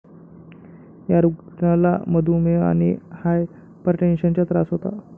या रुग्णाला मधूमेह आणि हायपरटेन्शनचा त्रास होता.